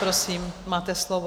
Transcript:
Prosím, máte slovo.